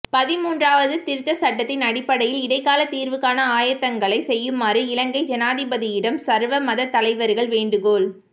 பதின்மூன்றாவது திருத்தச் சட்டத்தின் அடிப்படையில் இடைக்காலத் தீர்வுக்கான ஆயத்தங்களைச் செய்யுமாறு இலங்கை ஜனாதிபதியிடம் சர்வ மதத்தலைவர்கள் வேண்டுகோள்